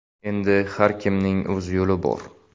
Endi har kimning o‘z yo‘li bor.